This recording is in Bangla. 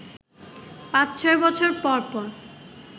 পাঁচ-ছয় বছর পর পর